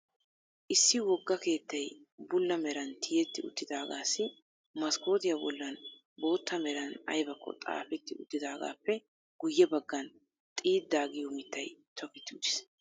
Issi wogga keettay bulla meran tiyetti uttidaagaassi maskootiya bollan bootta meran ayibakko xaapetti uttidaagaappe guyye baggan xiidda giyo mittay toketti uttis.